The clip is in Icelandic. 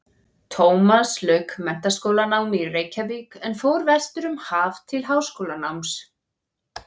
Tómas lauk menntaskólanámi í Reykjavík en fór vestur um haf til háskólanáms.